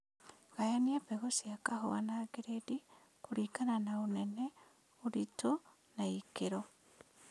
Gayania mbegũ cia kahũa na giredi kũlingana na ũnene, ũritũ na ikĩro